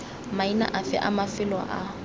maina afe a mafelo a